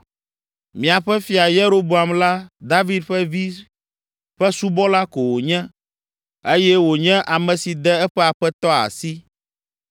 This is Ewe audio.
Miaƒe fia Yeroboam la, David ƒe vi ƒe subɔla ko wònye eye wònye ame si de eƒe aƒetɔ asi.